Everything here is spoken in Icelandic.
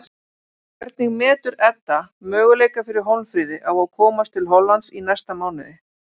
Hvernig metur Edda möguleika fyrir Hólmfríði á að komast til Hollands í næsta mánuði?